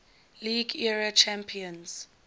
league era champions